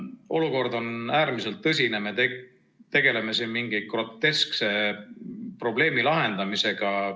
Olukord on äärmiselt tõsine, aga me tegeleme siin mingi groteskse probleemi lahendamisega.